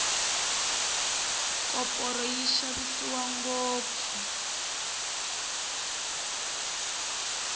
koporo yi xavisiwa ngopfu